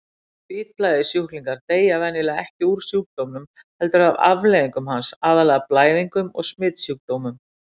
Hvítblæði-sjúklingar deyja venjulega ekki úr sjúkdómnum heldur af afleiðingum hans, aðallega blæðingum og smitsjúkdómum.